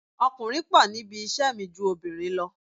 Ọkùnrin pọ̀ níbi iṣẹ́ mi ju obìnrin lọ